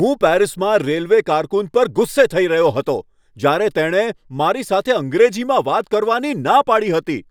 હું પેરિસમાં રેલવે કારકુન પર ગુસ્સે થઈ રહ્યો હતો જ્યારે તેણે મારી સાથે અંગ્રેજીમાં વાત કરવાની ના પાડી હતી.